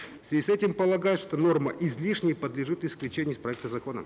в связи с этим полагаю что норма излишняя подлежит исключению из проекта закона